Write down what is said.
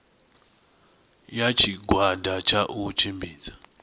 ya tshigwada tsha u tshimbidza